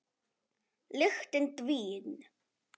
Lyktin dvín.